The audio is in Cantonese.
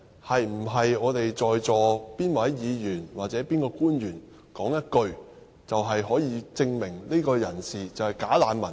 是否在座哪位議員和哪位官員說一句話，便可以證明某個人是"假難民"呢？